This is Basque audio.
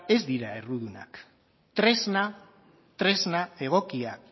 ez dira errudunak tresna egokia